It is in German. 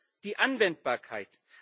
Erstens die Anwendbarkeit.